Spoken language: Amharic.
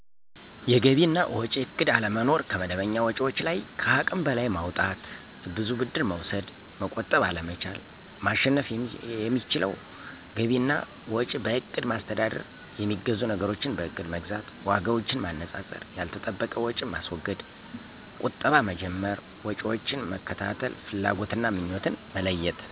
የገቢ እና ወጭ እቅድ አለመኖር፣ ከመደበኛ ወጭዎች ለይ ከሃቅም በለይ ማውጣት፣ ብዙ ብድር መውሰድ፣ መቆጠብ አለመቻል። ማሸነፍ የሚችለው ገቢ እና ወጭ በእቅድ ማስተዳደር፣ የሚገዙ ነገሮችን በእቅድ መግዛት፣ ዋጋዎችን ማነፃፀር፣ ያልተጠበቀ ወጭ ማስወገድ፣ ቀጠባ መጀመር፣ ወጭዎችን መከታተል፣ ፍላጎትና ምኞትን መለየት